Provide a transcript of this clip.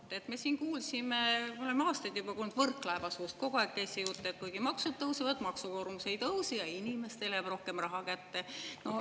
No vot, me siin kuulsime, ja oleme juba aastaid kuulnud Võrklaeva suust, kogu aeg käis see jutt, et kuigi maksud tõusevad, siis maksukoormus ei tõuse ja inimestele jääb rohkem raha kätte.